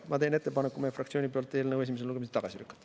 Ma teen meie fraktsiooni nimel ettepaneku eelnõu esimesel lugemisel tagasi lükata.